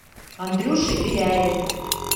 андрюше беляеве